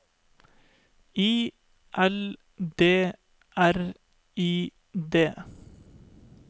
I L D R I D